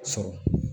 Sɔrɔ